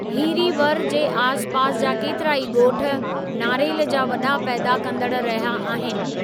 हीरीवर जे आस पास जा केतिराई ॻोठ नारेल जा वॾा पैदा कंदड़ु रहिया आहिनि।